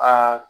Aa